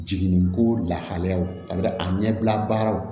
Jiginniko lahalayaw a ɲɛbila baaraw